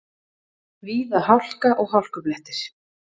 Víða hálka og hálkublettir